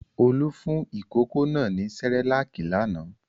Olú fún ìkókó náà ní Cerelac lánàá.